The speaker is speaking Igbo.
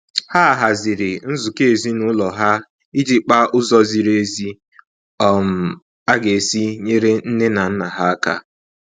Ha haziri nzukọ ezinaụlọ ha iji kpaa ụzọ ziri ezi um a ga-esi nyere nne na nna ha aka